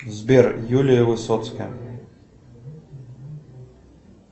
сбер юлия высоцкая